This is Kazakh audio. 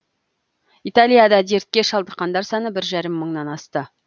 италияда дертке шалдыққандар саны бір жарым мыңнан асты